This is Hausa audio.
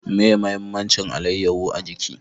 Meye mahimmancin alayaho a jiki?